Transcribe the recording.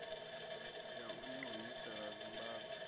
ya u ni humisela zimbabwe